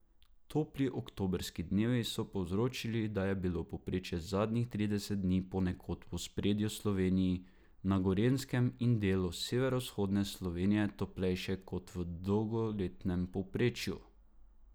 Topli oktobrski dnevi so povzročili, da je bilo povprečje zadnjih trideset dni ponekod v osrednji Sloveniji, na Gorenjskem in delu severovzhodne Slovenije toplejše kot v dolgoletnem povprečju.